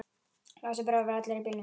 Lási bróðir var allur í bílum.